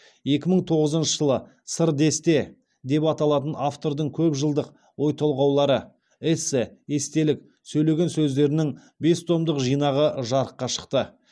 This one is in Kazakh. екі мың тоғызыншы жылы сыр десте деп аталатын автордың көп жылдық ой толғаулары эссе естелік сөйлеген сөздерінің бес томдық жинағы жарыққа шықты